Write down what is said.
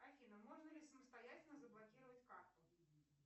афина можно ли самостоятельно заблокировать карту